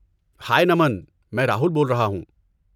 ہائے، نمن! میں راہل بول رہا ہوں۔